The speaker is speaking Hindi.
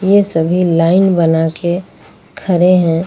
ये सभी लाइन बना के खड़े हैं।